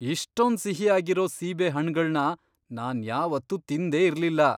ಇಷ್ಟೊಂದ್ ಸಿಹಿಯಾಗಿರೋ ಸೀಬೆ ಹಣ್ಣ್ಗಳ್ನ ನಾನ್ ಯಾವತ್ತೂ ತಿಂದೇ ಇರ್ಲಿಲ್ಲ!